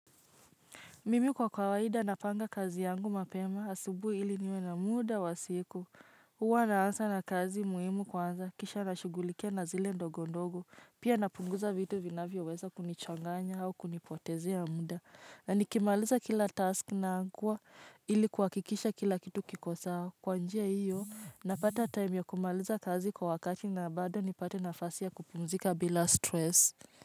Mimi kwa kawaida napanga kazi yangu mapema asubuhi ili niwe na muda wa siku. Huwa naanza na kazi muhimu kwanza, kisha nashughulikia na zile ndogo ndogo. Pia napunguza vitu vinavyoweza kunichanganya au kunipotezea muda. Na nikimaliza kila task nakagua ili kuhakikisha kila kitu kiko sawa. Kwa njia hiyo, napata time ya kumaliza kazi kwa wakati na bado nipate nafasi ya kupumzika bila stress.